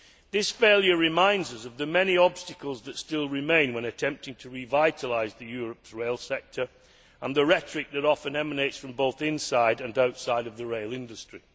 This failure reminds us of the many obstacles that still remain when attempting to revitalise Europe's rail sector and the rhetoric that often emanates from both inside and outside the rail industry.